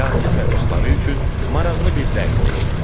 Yasin və dostları üçün maraqlı bir dərs keçdi.